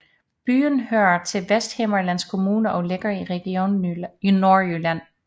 Byen hører til Vesthimmerlands Kommune og ligger i Region Nordjylland